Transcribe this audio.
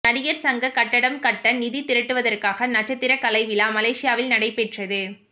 நடிகர் சங்க கட்டடம் கட்ட நிதி திரட்டுவதற்காக நட்சத்திர கலைவிழா மலேசியாவில் நடைபெற்றது